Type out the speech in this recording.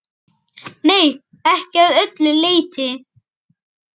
Nei, ekki að öllu leyti.